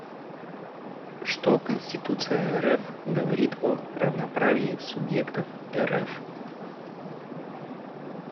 что конституция рф говорит о равноправии субъектов рф